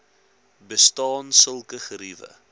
bestaan sulke geriewe